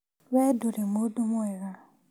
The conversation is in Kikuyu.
Wee ndũrĩ mũndũ mwega